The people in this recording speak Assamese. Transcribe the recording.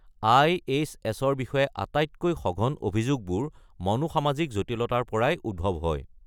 আই.এইচ.ৰ বিষয়ে আটাইতকৈ সঘন অভিযোগবোৰ সমাজ-মনস্তাত্ত্বিক জটিলতাৰ পৰাই উদ্ভৱ হয়।